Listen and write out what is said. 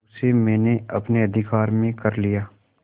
उसे मैंने अपने अधिकार में कर लिया